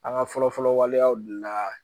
An ka fɔlɔ-fɔlɔ waleyaw de la